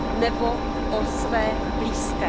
nebo o své blízké.